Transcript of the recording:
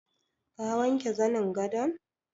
Ka wanke zanin gadon?